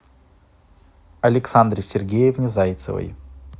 александре сергеевне зайцевой